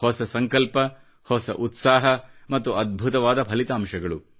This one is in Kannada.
ಹೊಸ ಸಂಕಲ್ಪ ಹೊಸ ಉತ್ಸಾಹ ಮತ್ತು ಅದ್ಭುತವಾದ ಫಲಿತಾಂಶಗಳು